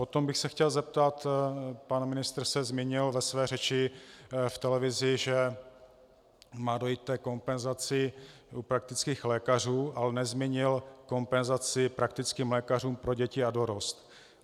Potom bych se chtěl zeptat: Pan ministr se zmínil ve své řeči v televizi, že má dojít ke kompenzaci u praktických lékařů, ale nezmínil kompenzaci praktickým lékařům pro děti a dorost.